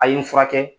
A ye n furakɛ